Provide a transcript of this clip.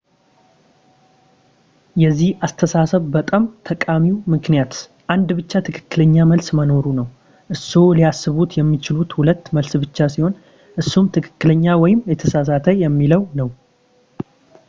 የዚህ አስተሳሰብ በጣም ጠቃሚው ምክንያት አንድ ብቻ ትክክለኛ መልስ መኖሩ ነው እርስዎ ሊያስቡት የሚችሉት ሁለት መልስ ብቻ ሲሆን እሱም ትክክለኛ ወይም የተሳሳተ የሚለው ነው